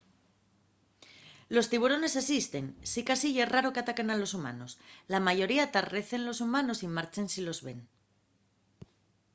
los tiburones esisten sicasí ye raro qu’ataquen a humanos. la mayoría tarrecen los humanos y marchen si los ven